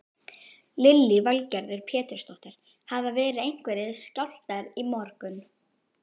Lillý Valgerður Pétursdóttir: Hafa verið einhverjir skjálftar í morgun?